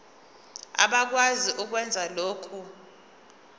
abakwazi ukwenza lokhu